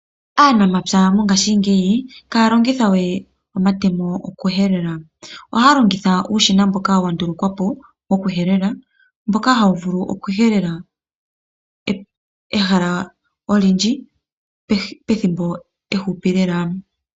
Aanamapya mongaashingeyi iha ya longithawe omatemo okuhelela oha ya longitha uushina mboka wa ndulukwapo wokuhelela mboka hawu vulu okuhelela ehala olindji pethimbo ehupi lela.